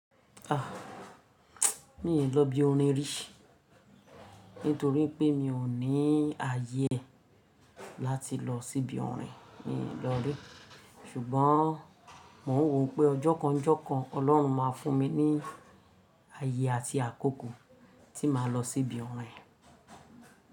A! Mi n lọ ibi orin rí, nítorí pé mi ò ní ayé e láti lọ sí ibi orin, mi n lọ rí. Ṣùgbọ́n mò ń wò pé ọjọ́ kan njọ́ kan, Ọlọ́run máa fún mi ní aayé àti àkókò tí màá lọ sí ibi orin.